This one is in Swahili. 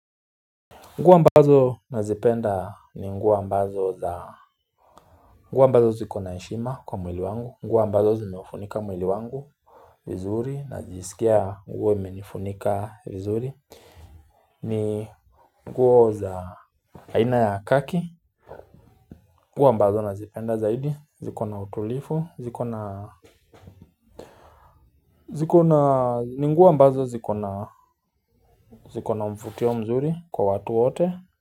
Nguo ambazo nazipenda ni nguo ambazo za nguo ambazo zikona na heshima kwa mwili wangu nguo ambazo zimeufunika mwili wangu vizuri na jisikia nguo imenifunika vizuri ni nguo za aina ya kaki nguo ambazo nazipenda zaidi zikona utulifu nguo ambazo zikona Zikona mfutio mzuri kwa watu wote.